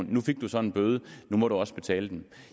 nu fik du så en bøde nu må du også betale den